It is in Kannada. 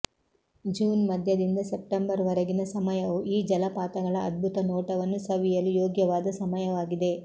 ಜೂನ್ ಮಧ್ಯದಿಂದ ಸೆಪ್ಟಂಬರ್ ವರೆಗಿನ ಸಮಯವು ಈ ಜಲಪಾತಗಳ ಅದ್ಭುತ ನೋಟವನ್ನು ಸವಿಯಲು ಯೋಗ್ಯವಾದ ಸಮಯವಾಗಿದೆ